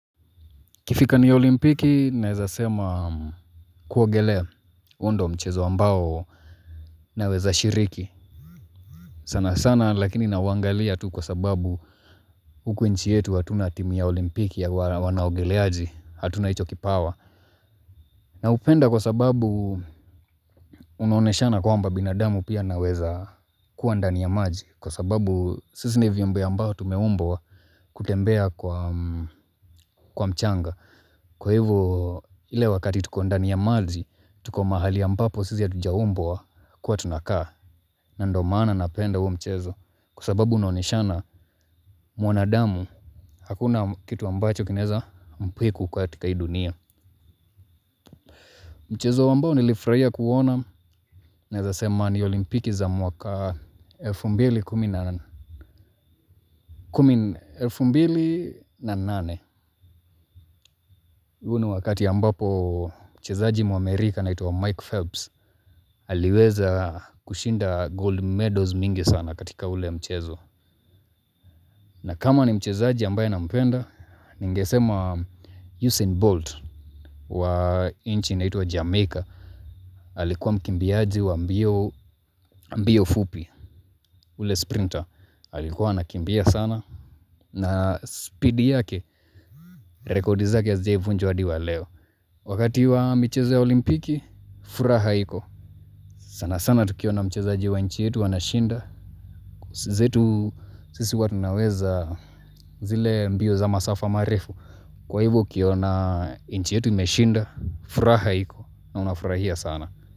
Ikifika ni olimpiki naeza sema kuogelea huo ndo mchezo ambao naweza shiriki. Sana sana lakini nauangalia tu kwa sababu huku nchi yetu hatuna timu ya olimpiki ya wanaogeleaji hatuna hicho kipawa. Na hupenda kwa sababu unaoneshana kwamba binadamu pia anaweza kuwa ndani ya maji. Kwa sababu sisi ni viumbe ambao tumeumbwa kutembea kwa mchanga. Kwa hivo, ile wakati tuko ndani ya maji, tuko mahali ambapo sisi hatujaumbwa kuwa tunakaa. Na ndo maana napenda huo mchezo. Kwa sababu unaonyeashana mwanadamu hakuna kitu ambacho kinaeza mpiku katika hii dunia. Mchezo ambao nilifurahia kuona naeza sema ni olimpiki za mwaka elfu mbili kumi na huu ni wakati ambapo mchezaji muamerika anaitwa Mike Phelps aliweza kushinda gold medals mingi sana katika ule mchezo. Na kama ni mchezaji ambaye na mpenda Ningesema Usain Bolt wa inchi inaitwa Jamaica alikuwa mkimbiaji wa mbio fupi. Ule sprinter alikuwa anakimbia sana. Na speed yake rekodi zake hazijawai vunjwa hadi wa leo. Wakati wa michezo ya olimpiki furaha iko sana sana tukiona mchezaji wa inchi yetu anashinda. Zetu sisi huwa tunaweza zile mbio za masafa marefu. Kwa hivo ukiona inchi yetu imeshinda, furaha iko na unafurahia sana.